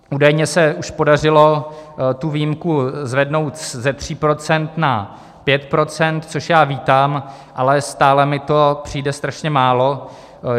Údajně se už podařilo tu výjimku zvednout ze 3 % na 5 %, což já vítám, ale stále mi to přijde strašně málo.